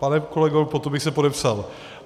Pane kolego, pod to bych se podepsal.